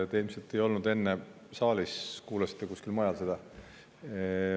Te ilmselt ei olnud enne saalis, kuulasite kusagil mujal seda.